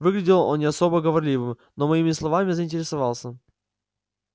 выглядел он не особо говорливым но моими словами заинтересовался